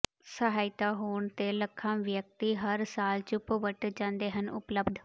ਸਹਾਇਤਾ ਹੋਣ ਤੇ ਲੱਖਾਂ ਵਿਅਕਤੀ ਹਰ ਸਾਲ ਚੁੱਪ ਵੱਟ ਜਾਂਦੇ ਹਨ ਉਪਲੱਬਧ